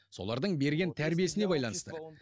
солардың берген тәрбиесіне байланысты